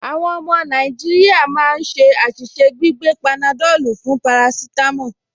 Àwọn ọmọ Nàìjíríà máa ń ṣe àṣìṣe gbígbé panadọ́lù fún parasítámọ̀